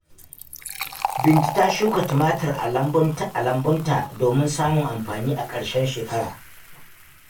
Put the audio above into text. Bintu ta shuka tumatir a lambunta domin samun amfani a ƙarshen shekara.